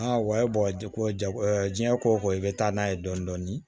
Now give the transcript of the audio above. wayi jako jago diɲɛ ko ko i bɛ taa n'a ye dɔɔnin dɔɔnin